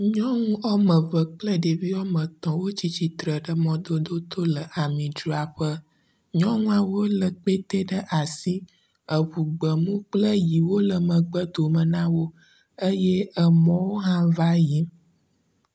Nyɔnu wome eve kple ɖevia wome etɔ̃ wotsi tsitre ɖe mɔdodo to le amidzraƒe. Nyɔnuawo lé kpɛte ɖe asi eŋu gbemu kple ʋiwo le megbe dome na wo eye mɔwo hã va yiyim.